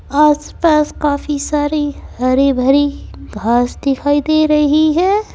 आसपास काफी सारी हरी भरी घास दिखाई दे रही है।